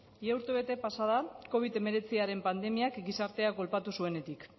ia urtebete pasa da covid hemeretziaren pandemiak gizartea kolpatu zuenetik